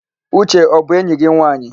Uche ọ bụ enyi gị nwaanyị?